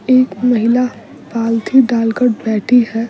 एक महिला पालथी डालकर बैठी है।